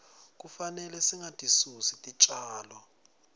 kufanele singatisusi titjalo